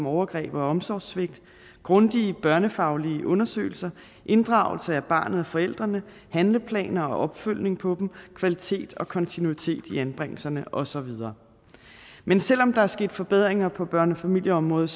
overgreb og omsorgssvigt grundige børnefaglige undersøgelser inddragelse af barnet og forældrene handleplaner og opfølgning på dem kvalitet og kontinuitet i anbringelserne og så videre men selv om der er sket forbedringer på børne og familieområdet